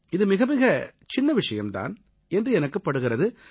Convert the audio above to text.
இது மிகமிகச் சின்ன விஷயம் தான் என்று எனக்குப் படுகிறது